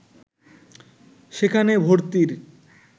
সেখানে ভর্তির